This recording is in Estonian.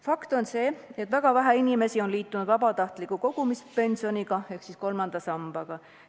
Fakt on see, et väga vähe inimesi on liitunud vabatahtliku kogumispensioniga ehk kolmanda sambaga.